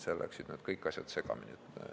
Seal läksid kõik asjad segamini.